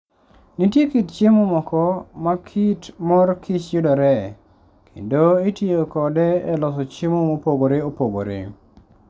Nitie kit chiemo moko ma kit mor kich yudoree, kendo itiyo kode e loso chiemo mopogore opogore.